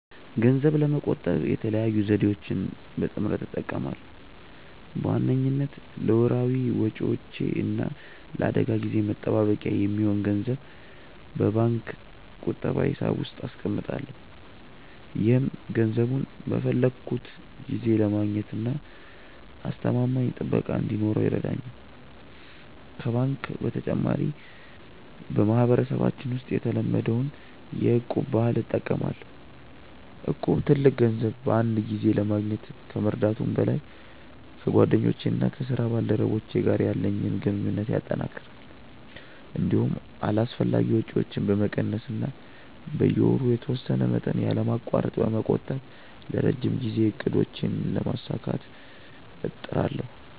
ገንዘብ ለመቆጠብ የተለያዩ ዘዴዎችን በጥምረት እጠቀማለሁ። በዋነኝነት ለወርሃዊ ወጪዎቼ እና ለአደጋ ጊዜ መጠባበቂያ የሚሆን ገንዘብ በባንክ ቁጠባ ሂሳብ ውስጥ አስቀምጣለሁ። ይህም ገንዘቡን በፈለግኩት ጊዜ ለማግኘትና አስተማማኝ ጥበቃ እንዲኖረው ይረዳኛል። ከባንክ በተጨማሪ፣ በማህበረሰባችን ውስጥ የተለመደውን የ'እቁብ' ባህል እጠቀማለሁ። እቁብ ትልቅ ገንዘብ በአንድ ጊዜ ለማግኘት ከመርዳቱም በላይ፣ ከጓደኞቼና ከስራ ባልደረቦቼ ጋር ያለኝን ግንኙነት ያጠናክራል። እንዲሁም አላስፈላጊ ወጪዎችን በመቀነስ እና በየወሩ የተወሰነ መጠን ያለማቋረጥ በመቆጠብ የረጅም ጊዜ እቅዶቼን ለማሳካት እጥራለሁ።